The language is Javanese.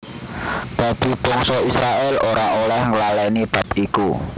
Dadi bangsa Israèl ora oleh nglalèni bab iku